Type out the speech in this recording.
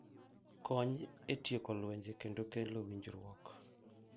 Kony e tieko lwenje kendo kelo winjruok.